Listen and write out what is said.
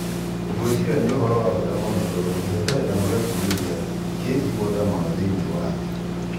Ngwĩciria nĩ uhoro wa bata mũno tondũ kĩhĩtahĩtano gĩa Purimia kĩ igweta mũno thĩiniĩ wa thĩ.